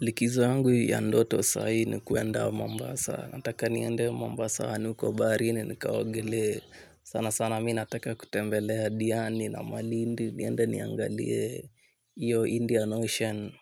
Likizo yangu ya ndoto saii ni kuenda Mambasa. Nataka niende Mambasa anuko baarini nikaogelee. Sana sana mi nataka kutembelea Diani na malindi. Niende niangalie iyo Indian Ocean.